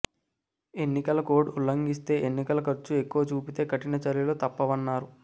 ఎన్నికల కోడ్ ఉల్లంఘిస్తే ఎన్నికల ఖర్చు ఎక్కువ చూపితే కఠిన చర్యలు తప్పవన్నారు